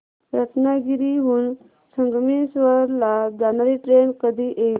रत्नागिरी हून संगमेश्वर ला जाणारी ट्रेन कधी येईल